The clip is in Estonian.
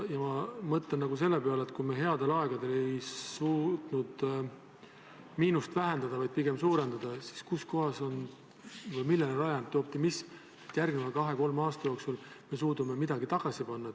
Ma mõtlen selle peale, et kui me headel aegadel ei suutnud miinust vähendada, vaid pigem suurendasime seda, siis millele on rajatud optimism, et järgmise 2–3 aasta jooksul me suudame midagi tagasi panna.